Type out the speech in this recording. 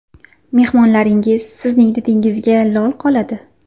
Mehmonlaringiz sizning didingizga lol qoladi.